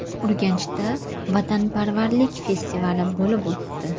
Urganchda vatanparvarlik festivali bo‘lib o‘tdi .